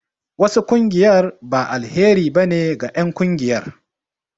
Wasu ƙungiyar ba alheri ba ne ge en ƙungiyar